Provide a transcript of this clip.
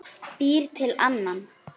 Býr til annan.